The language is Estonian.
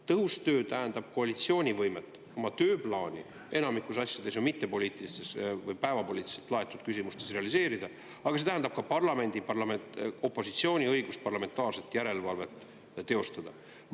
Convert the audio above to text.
Tõhus töö tähendab koalitsiooni võimet oma tööplaani – enamikus asjades ju mittepoliitilistes või päevapoliitiliselt laetud küsimustes – realiseerida, aga see tähendab ka parlamendi opositsiooni õigust parlamentaarset järelevalvet teostada.